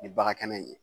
Ni bagan kɛnɛ in ye